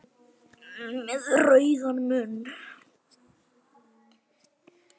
Með rauðan munn.